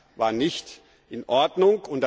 Das war nicht in Ordnung.